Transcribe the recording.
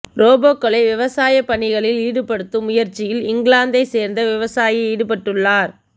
ரோபோக்களை விவசாயப் பணிகளில் ஈடுபடுத்தும் முயற்சியில் இங்கிலாந்தை சேர்ந்த விவசாயி ஈடுபட்டுள்ளார்